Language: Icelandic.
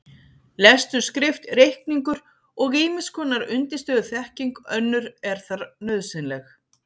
Lestur, skrift, reikningur og ýmiss konar undirstöðuþekking önnur er þar nauðsynleg.